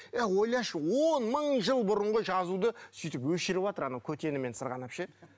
ойлашы он мың бұрынғы жазуды сөйтіп өшіріватыр анау көтенімен сырғанап ше